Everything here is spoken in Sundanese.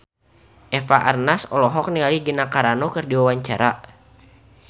Eva Arnaz olohok ningali Gina Carano keur diwawancara